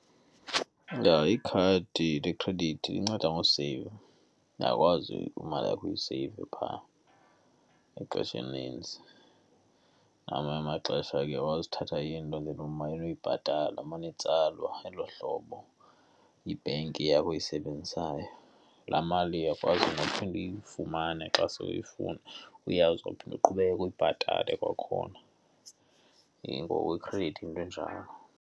Ikhadi lekhredithi linceda ngoseyiva. Uyakwazi imali yakho uyiseyive pha ngexesha elinintsi. Ngamanye amaxesha uyakwazi uthatha into nje umane uyibhatala, imane itsalwa elo hlobo, yibhenki yakho oyisebenzisayo. Laa mali uyakwazi nakukuphinda uyifumane xa se uyifuna, uyazi uzophinde uqhubeke uyibhatale kwakhona. Ngoku ikhredithi yinto enjalo.